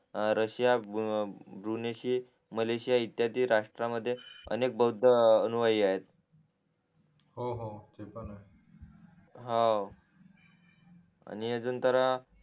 Russia बृनिशी Malaysia इतियादी राष्ट्रमध्ये अनेक बौद्ध रहविये हो हो तेपण आहे हाव आणि अजून तर